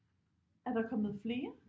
Er der kommet flere